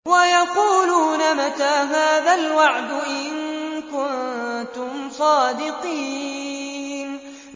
وَيَقُولُونَ مَتَىٰ هَٰذَا الْوَعْدُ إِن كُنتُمْ صَادِقِينَ